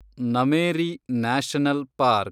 Nameri national park